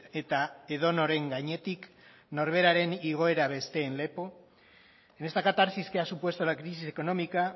eta edonoren gainetik norberaren igoera besteen lepo en esta catarsis que ha supuesto la crisis económica